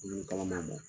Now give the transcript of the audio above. Dumuni kalaman